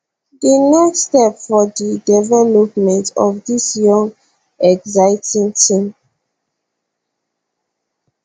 di next step for di development of dis young exciting team